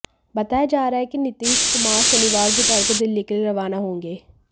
बताया जा रहा है कि नीतीश कुमार शनिवार दोपहर को दिल्ली के लिए रवाना होंगे